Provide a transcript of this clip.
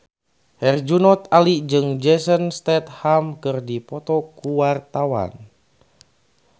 Herjunot Ali jeung Jason Statham keur dipoto ku wartawan